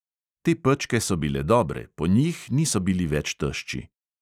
Te pečke so bile dobre, po njih niso bili več tešči.